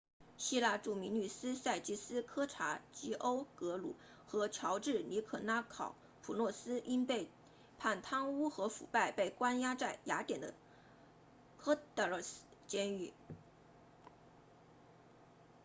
希腊著名律师萨基斯科查吉欧格鲁 sakis kechagioglou 和乔治尼可拉考普洛斯 george nikolakopoulos 因被判贪污和腐败被关押在雅典的 korydallus 监狱